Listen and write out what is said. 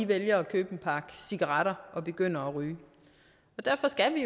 vælger at købe en pakke cigaretter og begynder at ryge derfor skal